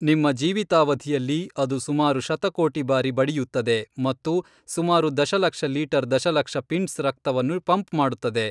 ನಿಮ್ಮ ಜೀವಿತಾವಧಿಯಲ್ಲಿ ಅದು ಸುಮಾರು ಶತಕೋಟಿ ಬಾರಿ ಬಡಿಯುತ್ತದೆ ಮತ್ತು ಸುಮಾರು ದಶಲಕ್ಷ ಲೀಟರ್ ದಶಲಕ್ಷ ಪಿಂಟ್ಸ್ ರಕ್ತವನ್ನು ಪಂಪ್ ಮಾಡುತ್ತದೆ